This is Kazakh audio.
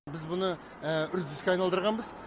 біз мұны үрдіске айналдырғанбыз